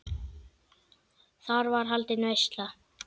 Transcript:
Þar er haldin veisla.